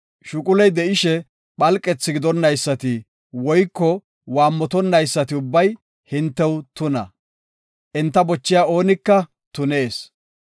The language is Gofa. Shuquley de7ishe phalqethi gidonnaysati woyko waammotonnaysati ubbay hintew tuna; enta bochiya oonika tunees.